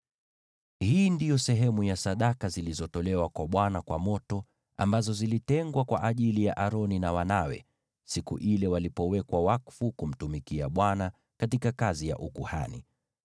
Hii ndiyo sehemu ya sadaka zilizotolewa kwa Bwana kwa moto, ambazo zilitengwa kwa ajili ya Aroni na wanawe siku ile walipowekwa wakfu ili kumtumikia Bwana katika kazi ya ukuhani.